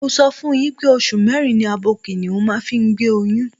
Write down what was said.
Mo ti sọ fún yín pé oṣù mẹ́rin ni abo kìnìhún máa ń fi gbé oyún.